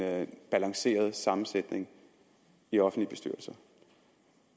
balanceret sammensætning i offentlige bestyrelser